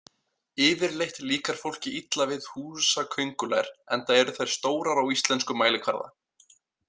Yfirleitt líkar fólki illa við húsaköngulær enda eru þær stórar á íslenskan mælikvarða.